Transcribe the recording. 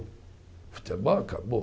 O futebol acabou.